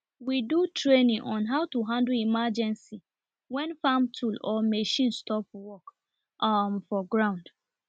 we do training on how to handle emergency when farm tool or machine stop work um for ground